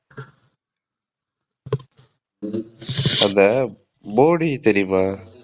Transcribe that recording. அந்த போடி தெரியுமா?